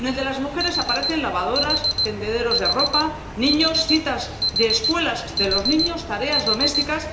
en la de las mujeres aparecen lavadoras, tendederos de ropa, niños, citas de escuelas de los niños, tareas domésticas...